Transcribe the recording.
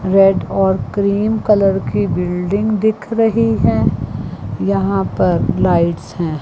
Red और cream colour की बिल्डिंग दिख रही हैं यहां पर लाइट्स हैं।